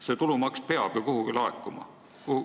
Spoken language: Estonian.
See tulumaks peab ju kuhugi laekuma.